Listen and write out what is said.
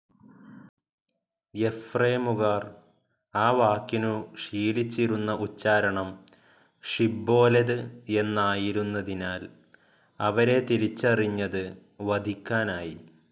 എഫ്രേമുകാർ ആ വാക്കിനു ശീലിച്ചിരുന്ന ഉച്ചാരണം ശിബ്ബോലെത് എന്നായിരുന്നതിനാൽ അവരെ തിരിച്ചറിഞ്ഞത് വധിക്കാനായി.